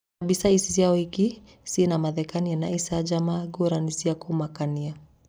Na mbica ici cia ũhiki ciĩna mathekania na icanjama ngurani cia kũmakania.